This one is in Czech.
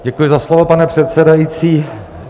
Děkuji za slovo, pane předsedající.